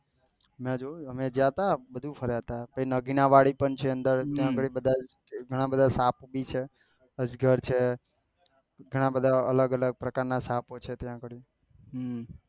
અમે જ્યાં તા બધું ફરવા થા પછી નગીના વાડી પણ છે અંદર એના આડી ઘણા બધા સાપ ભી છે અજગર છે ઘણા બધા અલગ અલગ પ્રકાર ના સાપો છે ત્યાં આગળી